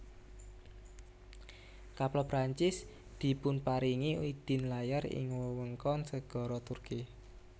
Kapal Prancis dipunparingi idin layar ing wewengkon segara Turki